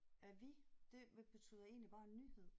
Avis det betyder egentlig bare nyhed